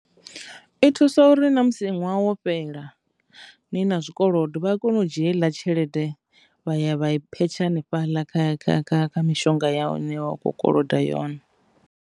I thusa uri na musi ṅwaha wo fhela ni na zwikolodo vha a kona u dzhia heiḽa tshelede vha ya vha i phetsha hanefhaḽa kha, kha, kha, kha mishonga ya hune wa kho koloda yone.